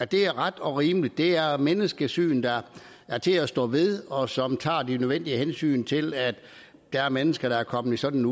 det er ret og rimeligt det er menneskesyn der er til at stå ved og som tager de nødvendige hensyn til at der er mennesker der er kommet i sådan